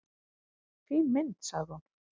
"""Fín mynd, sagði hún."""